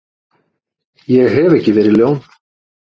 Ég hef ekki verið ljón.